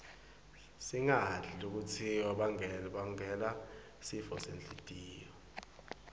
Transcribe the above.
singadli lokutnsi bangela sifosenhltiyo